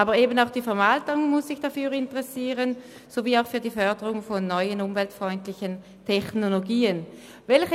Aber auch die Verwaltung muss sich dafür sowie für die Förderung neuer umweltfreundlicher Technologien interessieren.